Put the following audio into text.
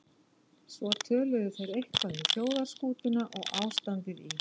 Svo töluðu þeir eitthvað um þjóðarskútuna og ástandið í